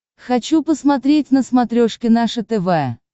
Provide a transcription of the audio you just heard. хочу посмотреть на смотрешке наше тв